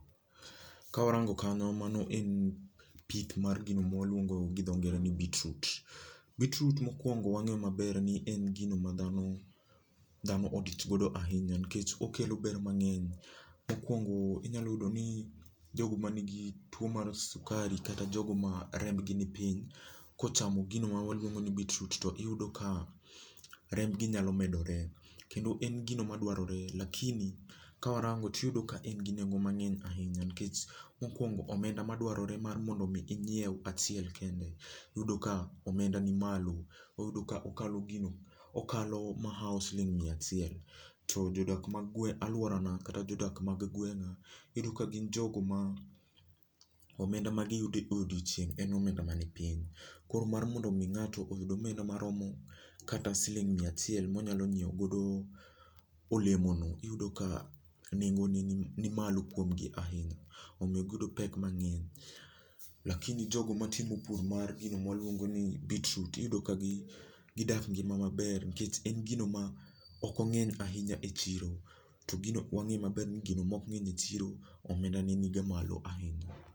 Kawarango kanyo mano en pith gino mwaluongo gi dho ngere ni beetroot. beetroot mokwongo wang'eyo maber ni en gino ma dhano dhano odich godo ahinya nikech okelo ber mang'eny. Mokwongo, inyalo yudo ni, jogo ma nigi tuo mar sukari kata jogo ma remb gi ni piny, kochamo gino ma waluongo ni beetroot to iyudo ka, remb gi nyalo medore. Kendo en gino madwarore lakini, kawarango tiyudo ka en gi nengo mang'eny ahinya nikech, mokwongo omenda madwarore mar mondo mi inyiew achiel kende, iyudo ka omenda ni malo. Oyuda ka okalo gino okalo mahaw siling miya achiel. To jodak ma alworana kata jodak ma gweng'a, iyudo ka gin jogo ma, omenda ma giyudo e odiechieng' en omenda ma ni piny. Koro mar mondo mi ng'ato oyud omenda maromo kata siling miya achiel monyalo nyiew godo, olemono iyudo ka nengo ne ni ni malo kuom gi ahinya, omiyo giyudo pek mang'eny. lakini jogo matimo pur mar gino mwaluongo ni beetroot iyudo ka gi gidak ngima maber nikech en gimo ma ok ong'eny ahinya e chiro. To gino wang'e maber ni gino mok ng'eny e chiro, omenda ne niga malo ahinya